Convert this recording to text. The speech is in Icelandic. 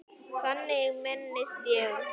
Þannig minnist ég hennar.